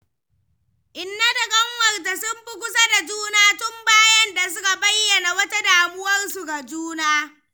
Inna da ƙanwarta sun fi kusa da juna tun bayan da suka bayyana wata damuwarsu ga juna.